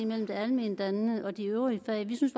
mellem det alment dannende og de øvrige fag vi synes